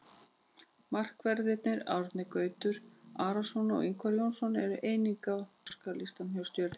Markverðirnir Árni Gautur Arason og Ingvar Jónsson eru einnig á óskalistanum hjá Stjörnunni.